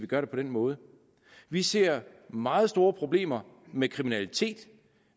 gør det på den måde vi ser meget store problemer med kriminalitet